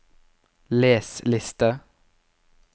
les liste